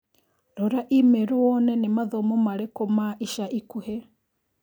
Rora i-mīrū wone nĩ mathomo marĩkũ ma ica ikuhĩ.